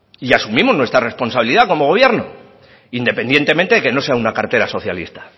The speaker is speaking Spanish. y asumimos nuestra responsabilidad como gobierno independientemente de que no sea una cartera socialista